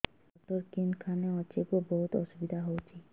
ଶିର doctor କେଖାନେ ଅଛେ ଗୋ ବହୁତ୍ ଅସୁବିଧା ହଉଚି